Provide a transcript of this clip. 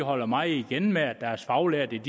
holder meget igen med at deres faglærte ikke